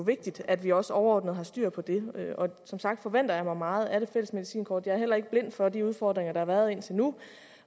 vigtigt at vi også overordnet har styr på det som sagt forventer jeg mig meget af det fælles medicinkort jeg er heller ikke blind for de udfordringer der har været indtil nu